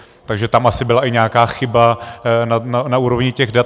Takže tam asi byla i nějaká chyba na úrovni těch dat.